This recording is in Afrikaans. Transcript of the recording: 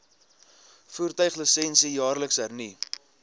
voertuiglisensie jaarliks hernu